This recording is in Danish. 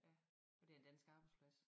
Ja og det en dansk arbejdsplads